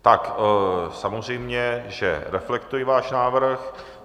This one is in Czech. Tak samozřejmě že reflektuji váš návrh.